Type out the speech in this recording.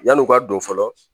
Yan'o ka don fɔlɔ